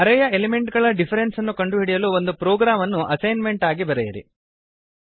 ಅರೇ ಯ ಎಲಿಮೆಂಟ್ ಗಳ ಡಿಫರೆನ್ಸ್ ಅನ್ನು ಕಂಡುಹಿಡಿಯಲು ಒಂದು ಪ್ರೊಗ್ರಾಮ್ ಅನ್ನು ಅಸೈನ್ಮೆಂಟ್ ಆಗಿ ಬರೆಯಿರಿ